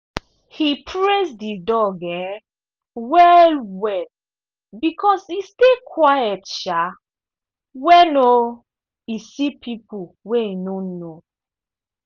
he praise the dog um well well because e stay quiet um when um e see people wey e no know.